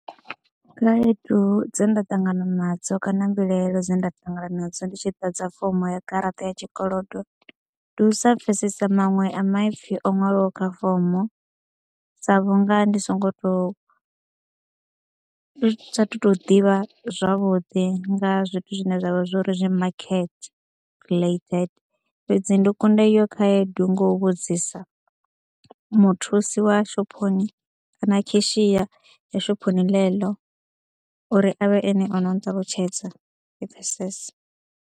Khaedu dze nda ṱangana nadzo kana mbilahelo dze nda ṱangana nadzo ndi tshi ḓadza fomo ya garaṱa ya tshikolodo, ndi u sa pfesesa maṅwe a maipfi o ṅwaliwaho kha fomo sa vhunga ndi songo tou, ndi saathu tou ḓivha zwavhuḓi nga zwithu zwine zwa vha zwo ri zwi market related fhedzi ndi kunda iyo khaedu nga u vhudzisa muthusi wa shophoni kana kheshiya ḽa shophoni ḽeḽo uri a vhe ene o no nṱalutshedza ndi pfhesese.